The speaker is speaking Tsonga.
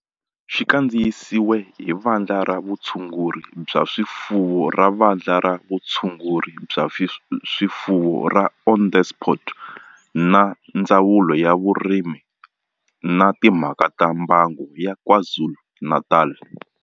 Xi kandziyisiwe hi Vandla ra Vutshunguri bya swifuwo ra Vandla ra Vutshunguri bya swifuwo ra Onderstepoort na Ndzawulo ya Vurimi na Timhaka ta Mbango ya KwaZulu-Natal.